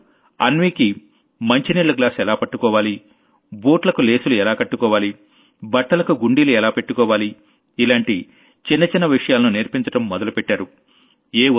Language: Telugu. వాళ్లు అన్వీకి మంచినీళ్ల గ్లాస్ ఎలా పట్టుకోవాలి బుట్లకు లేసులు ఎలా కట్టుకోవాలి బట్టలకు గుండీలు ఎలా పెట్టుకోవాలి ఇలాంటి చిన్న చిన్న చిన్న విషయాలను నేర్పించడం మొదలుపెట్టారు